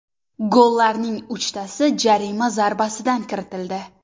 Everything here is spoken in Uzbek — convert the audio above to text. Gollarning uchtasi jarima zarbasidan kiritildi .